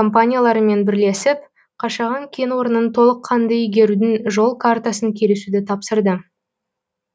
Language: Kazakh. компанияларымен бірлесіп қашаған кен орнын толыққанды игерудің жол картасын келісуді тапсырды